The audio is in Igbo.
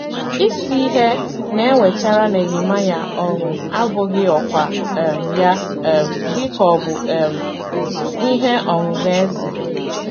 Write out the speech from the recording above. Isi ihe na - ewetara Nehemaịa ọṅụ abụghị ọkwá um ya um dị ka obu um ihe ọṅụṅụ eze.